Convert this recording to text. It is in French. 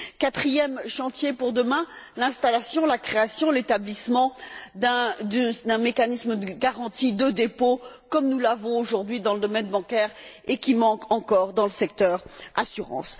Quatrième chantier pour demain, l'installation, la création, l'établissement d'un mécanisme de garantie de dépôt, comme nous l'avons aujourd'hui dans le domaine bancaire, et qui manque encore dans le secteur de l'assurance.